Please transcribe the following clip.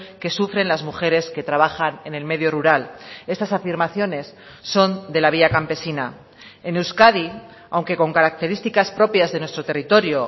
que sufren las mujeres que trabajan en el medio rural estas afirmaciones son de la vía campesina en euskadi aunque con características propias de nuestro territorio